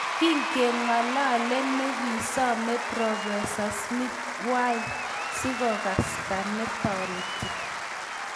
Kingengalale negisoman professa Smith, Wiy sigokasta netoreti